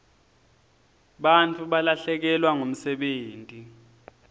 bantfu balahlekelwa ngumsebenti